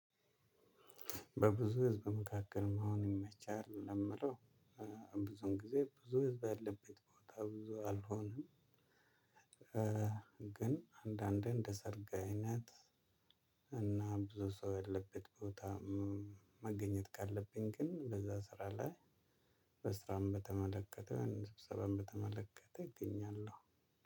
በብዙ ህዝብ መካከል መሆን ይመቻል ነው ምለው ብዙን ጊዜ ብዙ ህዝብ ያለበት ቦታ ብዙ አልሆንም። ግን አንዳንዴ እንደ ሰርግ አይነት እና ብዙ ሰው ያለበት ቦታ መገኘት ካለብኝ ግን በዛ ስራ ላይ። በስራም በተመለከተ በህዝብ ሰበብም በተመለከተ እገኛለሁ።